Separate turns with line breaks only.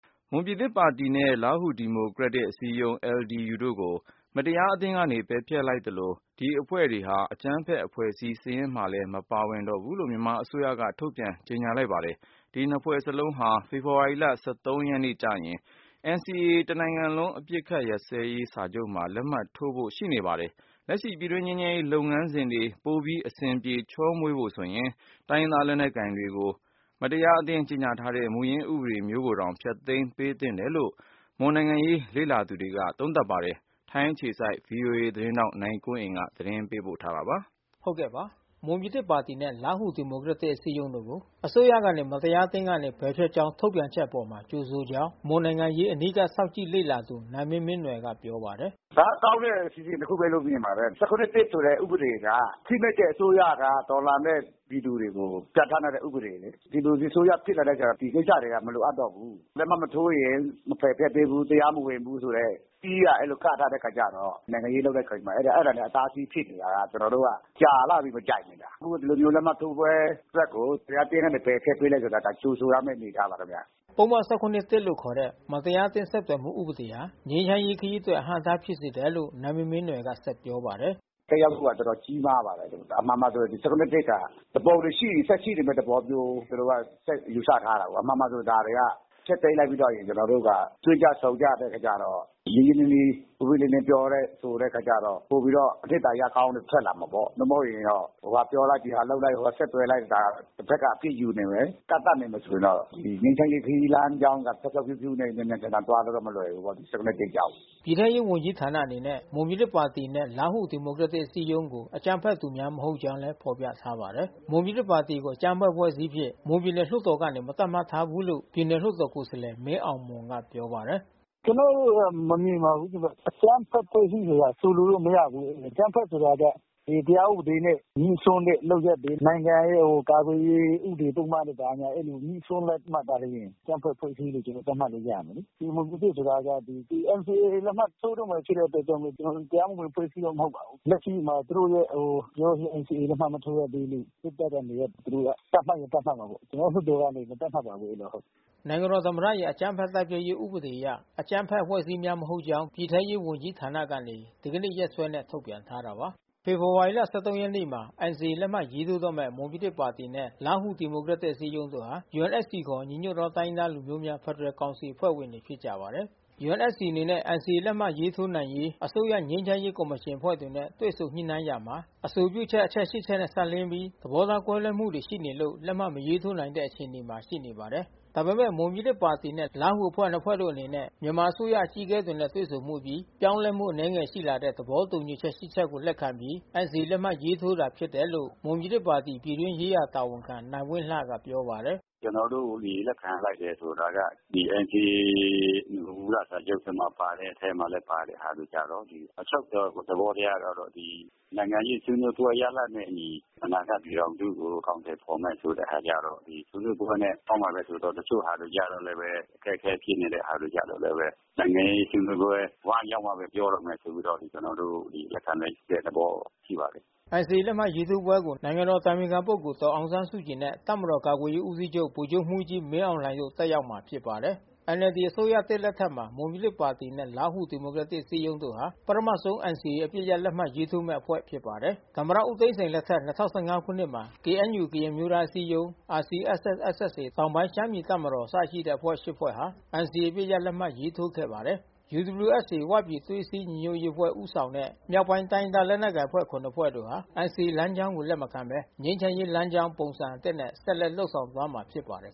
မွန်ပြည်သစ်ပါတီနဲ့ လားဟူဒီမိုကရက်တစ်အစည်းအရုံး LDU တို့ကို မတရားအသင်းက ပယ်ဖျက်လိုက်သလို၊ ဒီအဖွဲ့တွေဟာ အကြမ်းဖက်အဖွဲ့အစည်းစာရင်းမှာလည်း မပါဝင်ဘူးလို့ မြန်မာအစိုးရက ထုတ်ပြန်ကြေညာလိုက်ပါတယ်။ ဒီနှစ်ဖွဲ့စလုံးဟာNCA တနိုင်ငံလုံးအပစ်အခတ်ရပ်စဲရေးစာချုပ်မှာ လာမယ့် ဖေဖေါ်ဝါရီ ၁၃ ရက် နေ့ လက်မှတ်ရေးထိုးဖို့ ရှိနေပါတယ်။ လက်ရှိ ပြည်တွင်းငြိမ်းချမ်းရေးလုပ်ငန်းစဉ်တွေ ပိုပြီး အဆင်ပြေချောမွေဖို့ဆိုရင် တိုင်းရင်းသားလက်နက်ကိုင်တွေကို မတရားအသင်းကြေညာတဲ့ မူရင်ဥပဒေမျိုးကိုပင် ဖျက်သိမ်းသင့်တယ်လို့ မွန်နိုင်ငံရေးလေ့လာသူတွေက ပြောပါတယ်။ ဗွီအိုအေထိုင်းအခြေစိုက်သတင်းထောက်နိုင်ကွန်းအိန်ကနေ သတင်းပေးပို့ထားပါတယ်
။ မွန်ပြည်သစ်ပါတီနှင့်လားဟူဒီမိုကရက်တစ်အစည်းအရုံးကို အစိုးရကနေ မတရားအသင်းကနေပယ်ဖျက်ကြောင်းထုတ်ပြန်တဲ့ အပေါ် ကြိုဆိုကြောင်း မွန်နိုင်ငံရေးအနီးကပ်စောင့်ကြည့်လေ့လာသူ နိုင်မင်းမင်းနွယ်ကပြောပါတယ်။ "
ဒါကကောင်းတဲ့အစီအစဉ်တခုဘဲလို့မြင်ပါတယ်။ ၁၇/၁ဆိုတဲ့ဥပဒေက ဖိနှိပ်တဲ့အစိုးရကတော်လှန်တဲ့ပြည်သူတွေကို ပြဌာန်းထားတဲ့ ဥပဒေလေ။ ဒီမိုကရေစီအစိုးရဖြစ်လာတော့ ဒီကိစ္စမလိုအပ်တော့ဘူး။ လက်မှတ်မထိုးရင် မပယ်ဖျက်ပေးဘူးတရားမဝင်ဘူးဆိုတဲ့ စည်းကအဲဒီလိုကန့်ထားတဲ့အခါကျတော့ နိုင်ငံရေးလုပ်တဲ့အခါကျတော့ အဲတာတွေအတားဆီးဖြစ်နေတာ။ ကျွန်တော်တို့ကကြာလှပြီး မကြိုက်နေတာ။ အခုတော့ ဒီလိုမျိုးလက်မှတ်ထိုးပွဲအတွက်ကို မတရားအသင်းကနေပယ်ဖျက်ပေးလိုက်တာ ကြိုဆိုရမဲ့အနေအထား ပါခင်ဗျ။
" ပုဒ်မ၁၇/၁လို့ခေါ်တဲ့မတရားအသင်းဆက်သွယ်မှုဥပဒေဟာ ငြိမ်းချမ်းရေးခရီးအတွက်အဟန့်အတားဖြစ်စေတယ်လို့ နိုင်မင်းမင်း နွယ် ကပြောပါတယ်။
"သက်ရောက်မှူကတော်တော်ကြီးမားပါတယ်။ အမှန်မှာဆို ၁၇/၁က သူပုန်တွေရှိရင် ဆက်ရှိနေမဲ့သဘောမျိုး သူတို့ကဆက်ယူဆထား တာပေါ့။ အမှန်မှာဆို ဒါတွေက ဖျက်သိမ်းလိုက်ပြီးတော့ရင် ကျွန်တော်တို့က တွေ့ကြဆုံကြတဲ့အခါကျတော့ ရင်းရင်းနှီးနှီး ပွင့်ပွင့်လင်း လင်းပြောတဲ့ဆိုတဲ့အခါကျတော့ ပိုပြီးတော့အနှစ်သာရကောင်းတွေထွက်လာမှာပေါ့။ ဆက်သွယ်လိုက်တဖက်ကအပြစ်ယူနေမယ် ကန့်သတ်နေမယ်ဆိုရင်တော့ ငြိမ်းချမ်းရေးခရီးလမ်းကြောင်းက ဖြောင့်ဖြောင့်ဖြူးဖြူးနဲ့မြန်မြန်ဆန်ဆန်သွားဖို့တော့မလွယ်ဘူးပေါ့။ ၁၇/၁ကြောင့်။
" ပြည်ထဲရေးဝန်ကြီးဌာနအနေနဲ့ မွန်ပြည်သစ်ပါတီနှင့်လားဟူဒီမိုကရက်တစ်အစည်းအရုံးကို အကြမ်းဖက်သူများမဟုတ်ကြောင်း လည်း ဖေါ်ပြထားပါတယ်။ မွန်ပြည်သစ်ပါတီကိုအကြမ်းဖက်အဖွဲ့အစည်းအဖြစ် မွန်ပြည်နယ်လွှတ်တော်ကနေ မသတ်မှတ်ထား ဘူးလို့ ပြည်နယ်လွှတ်တော်ကိုယ်စားလှယ်မင်းအောင်မွန်ကပြောပါတယ်။ "ကျွန်တော်တို့ကမမြင်ပါဘူးခင်ဗျ။ အကြမ်းဖက်အဖွဲ့အစည်းဆိုတာဆိုလိုလို
့မရဘူး။ အကြမ်းဖက်အဖွဲ့အစည်းဆိုတာက တရားဥပဒေ နဲ့ငြိစွန်းတဲ့လုပ်ရပ်တွေ နိုင်ငံရဲ့ကာကွယ်ရေး ဥပဒေပုဒ်မဘာညာ အဲဒီလိုငြိစွန်းမှသာလျှင် အကြမ်းဖက်အဖွဲ့အစည်းလို့ ကျွန်တော်တို့ သတ်မှတ်လို့ရမယ်လေ။ မွန်ပြည်သစ်ဆိုတာက NCAလက်မှတ်ထိုးတော့မဲ့ဖြစ်တဲ့အတွက်ကြောင့်မို့ တရားမဝင်အဖွဲ့အစည်းတော့ မဟုတ်ပါဘူး။ လက်ရှိမှာသူတို့ JICM-NCAမှာလက်မှတ်မထိုးရသေးလို့ စစ်တပ်ကနေပြီးတော့ သူတို့ကသတ်မှတ်ရင်သတ်မှတ်မှာ ပေါ့။ ကျွန်တော်တို့လွှတ်တော်ကမသတ်မှတ်ပါဘူး။"
နိုင်ငံတော်သမ္မတရဲ့အကြမ်းဖက်တိုက်ဖျက်ရေးဥပဒေအရ အကြမ်းဖက်အဖွဲ့အစည်းများမဟုတ်ကြောင်း ပြည်ထဲရေးဝန်ကြီးဌာန ကနေဒီကနေ့ရက်စွဲနဲ့ထုတ်ပြန်ထားတာပါ။ ဖေဖေါ်ဝါရီလ ရက်နေ့မှာ NCAလက်မှတ်ရေးထိုးတော့မဲ့ မွန်ပြည်သစ်ပါတီနှင့်လားဟူဒီမိုကရက်တစ်အစည်းအရုံးတို့ဟာ UNFCခေါ် ညီညွတ်သောတိုင်းရင်းသားများဖက်ဒရယ်ကောင်စီအဖွဲ့ဝင်တွေဖြစ်ကြပါတယ်။ UNFCအနေနဲ့ NCAလက်မှတ်ထိုးရေးမှ အစိုးရငြိမ်းချမ်းရေးကော်မရှင်တွေနဲ့တွေ့ဆုံညှိနှိုင်းရာမှာ အဆိုပြုချက်အချက် ချက်နဲ့ စပ်လျှင်းပြီး သဘောထားကွဲလွှဲမှုတွေရှိနေလို့ လက်မှတ်မရေးထိုးနိုင်တဲ့အခြေအနေမှာရှိနေပါတယ်။ ဒါပေမဲ့မွန်ပြည်သစ်ပါတီနဲ့ လားဟူအဖွဲ့တို့နှစ်ဖွဲ့အနေနဲ့ မြန်မာအစိုးရအကြီးအကဲတွေနဲ့တွေ့ဆုံမှုအပြီး ပြောင်းလဲမှု အနည်းငယ် ရှိလာတဲ့ သဘောတူညီချက် ချက်ကိုလက်ခံပြီးNCAလက်မှတ်ရေးထိုးတာဖြစ်တယ်လို့ မွန်ပြည်သစ်ပါတီပြည်တွင်းရေးရာ တာ ဝန်ခံနိုင်ဝင်းလှက ပြောပါတယ်။
"ကျွန်တော်တို့ လက်ခံလိုက်တယ်ဆိုတာက ဒီNCAမူလစာချုပ်ထဲ ပါတဲ့အထဲမှာ ပါတဲ့ဟာတွေကျတော့ အချုပ်သဘောတရားကတော့ ဒီ နိုင်ငံရေးဆွေးနွေးပွဲရလဒ်နဲ့အညီ အနာဂတ်ပြည်ထောင်စုကျုအကောင်အထည်ဖေါ်မယ်ဆိုတဲ့ဟာကျတော့ ဆွေးနွေးပွဲနဲ့ပေါင်းမှာ ဘဲဆိုတော့ တချို့ဟာတွေကျတော့လဲ အခက်ခဲဖြစ်နေတဲ့ဟာတွေကျတော့လဲဘဲ နိုင်ငဲရေးဆွေးနွေးပွဲဝိုင်းရောက်မှဘဲ ပြောတော့မယ် ဆိုပြီးတော့ ကျွန်တော်တို့လက်ခံလိုက်တဲ့သဘောရှိပါတယ်။
" NCAလက်မှတ်ထိုးပွဲကို နိုင်ငံတော်အတိုင်ပင်ခံပုဂ္ဂိုလ် ဒေါ်အောင်ဆန်းစုကြည်နဲ့ တပ်မတော်ကာကွယ်ရေးဦးစီးချုပ် ဗိုလ်ချုပ်မှူးကြီး မင်းအောင်လှိုင်တို့ တက်ရောက်မှာဖြစ်ပါတယ်။ NLDအစိုးရသစ်လက်ထက်မှာ မွန်ပြည်သစ်ပါတီနှင့်လားဟူဒီမိုကရက်တစ်အစည်းအရုံးတို့ဟာ ပထမဆုံးNCAအပစ်ရပ် လက်မှတ် ရေး ထိုးမဲ့အဖွဲ့ဖြစ်ပါတယ်။ သမ္မတဦးသိန်းစိန်လက်ထက် ၂၀၁၅ခုနှစ်မှာ KNUကရင်အမျိုးသားအစည်းအရုံး RCSS/SSAတောင်ပိုင်းရှမ်းပြည်တပ်မတော် အစရှိတဲ့အဖွဲ့ ဖွဲ့ဟာ NCAအပစ်ရပ်လက်မှတ်ရေးထိုးခဲ့ပါတယ်။ UWSAဝပြည်သွေးစည်းညီညွတ်ရေးအဖွဲ့ဦးဆောင်တဲ့ မြောက်ပိုင်းတိုင်းရင်းသားလက်နက်ကိုင်အဖွဲ့ ဟာ NCAလမ်းကြောင်းကို လက်မခံဘဲ ငြိမ်းချမ်းရေးလမ်းကြောင်းပုံစံအသစ်နဲ့ဆက်လက်လုပ်ဆောင်သွားမှာဖြစ်ပါတယ်